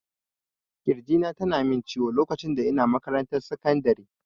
Kirji na tana min ciwo lokacin da ina makarantar sekandiri